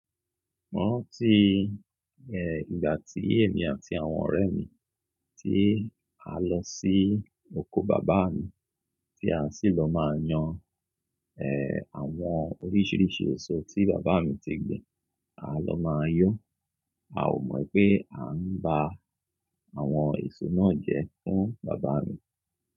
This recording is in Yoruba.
Mo rántí, eh, ìgbà tí èmi àti àwọn ọ̀rẹ́ mi tí a lọ sí oko bàbá mi, tí a sì lọ máa yan, eh, àwọn oríṣiríṣi èso tí bàbá mi ti gbin. A lọ máa yọ́, a ò mọ̀ pé à ń ba àwọn èso náà jẹ fún bàbá mi.